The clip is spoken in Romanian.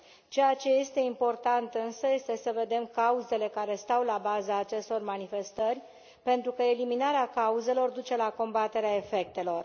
Ceea ce este important însă este să vedem cauzele care stau la baza acestor manifestări, pentru că eliminarea cauzelor duce la combaterea efectelor.